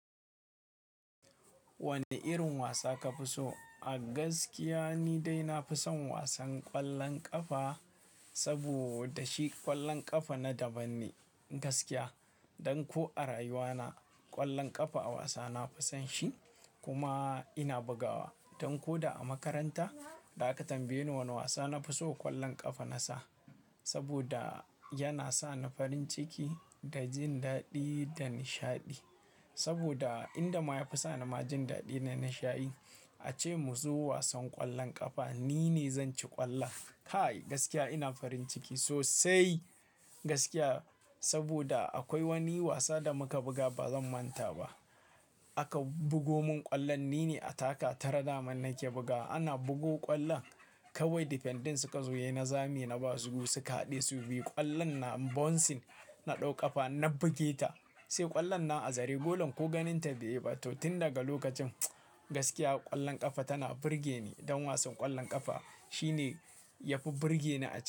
Wani irin wasa ka fi so? A gaskiya ni dai na fi son wasan ƙwallon ƙafa, saboda shi ƙwallon ƙafa na daban ne gaskiya. Dan ko a rayuwa na ƙwallon ƙafa a wasa na fi son shi kuma ina bugawa. Dan ko da a makaranta da aka tambaye ni wane wasa na fi so ƙwallon ƙafa na sa. Saboda yana sa ni farin ciki da jin daɗi da nishaɗi. Saboda inda ma ya fi sa ni jin daɗi da nishaɗi ace mu zo wasan ƙwallon ƙafa ni ne zan ci ƙwallon. Kai gaskiya ina farin ciki sosai gaskiya. Saboda akwai wani wasa da muka buga ba zan manta ba. Aka bugo mun ƙwallon ni ne a taka tar da man nake bugawa. Ana bugo ƙwallon kawai defending suka zo he na zame na ba su su ka haɗe su biyu ƙwallon na bouncing na ɗau ƙafa na buge ta. Sai ƙwallon nan a zare golan ko ganin ta bai yi ba. To tun daga lokacin gaskiya ƙwallon ƙafa tana burge ni. Don wasan ƙwallon ƙafa shi ne ya fi burge ni a cikin.